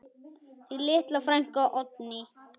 Þín litla frænka, Oddný.